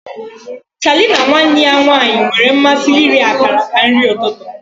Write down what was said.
Charlie na nwanne ya nwanyị nwere mmasị iri akara ka nri ụtụtụ.